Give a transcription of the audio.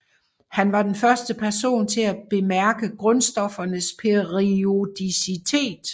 Han var den første person til at bemærke grundstoffernes periodicitet